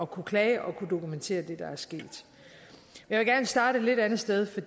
kunne klage og kunne dokumentere det der er sket jeg vil gerne starte et lidt andet sted for